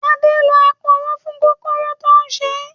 Adé lò aporó fún kòkòrò tó ń ṣé